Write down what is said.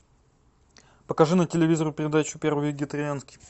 покажи на телевизоре передачу первый вегетарианский